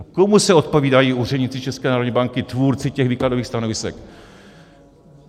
A komu se zodpovídají úředníci České národní banky, tvůrci těch výkladových stanovisek?